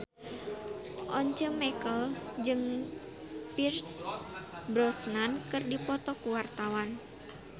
Once Mekel jeung Pierce Brosnan keur dipoto ku wartawan